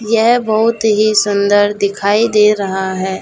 यह बहुत ही सुंदर दिखाई दे रहा है।